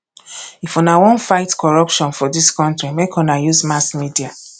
if una wan fight corruption for dis country make una use mass media